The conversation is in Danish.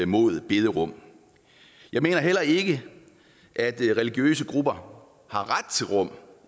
mod bederum jeg mener heller ikke at religiøse grupper har ret til bederum